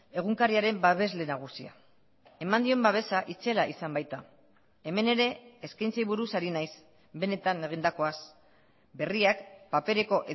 egunkariaren babesle nagusia eman dien babesa itzela izan baita hemen ere eskaintzei buruz ari naiz benetan egindakoaz berriak papereko